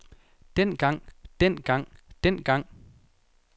dengang dengang dengang